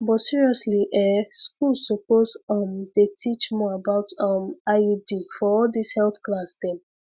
but seriously ehh schools suppose um dey teach more about um iud for all this health class dem